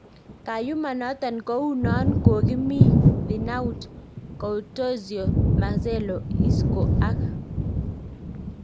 Kayuma noton kou non kokimi Thinaut Courtois, Marcelo, Isco ak